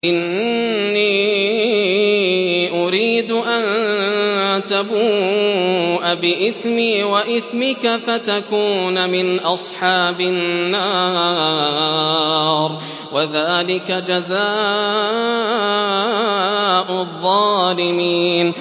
إِنِّي أُرِيدُ أَن تَبُوءَ بِإِثْمِي وَإِثْمِكَ فَتَكُونَ مِنْ أَصْحَابِ النَّارِ ۚ وَذَٰلِكَ جَزَاءُ الظَّالِمِينَ